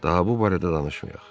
Daha bu barədə danışmayaq.